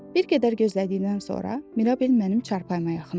Bir qədər gözlədikdən sonra Mirabel mənim çarpayıma yaxınlaşdı.